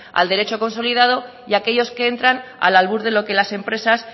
al derecho consolidado y aquellos que entran al albur de lo que las empresas